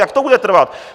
Jak to bude trvat?